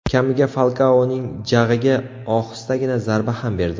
Kamiga Falkaoning jag‘iga ohistagina zarba ham berdi.